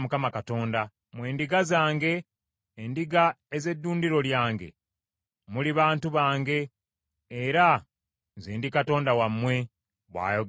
Mmwe ndiga zange, endiga ez’eddundiro lyange, muli bantu bange, era nze ndi Katonda wammwe, bw’ayogera Mukama Katonda.’ ”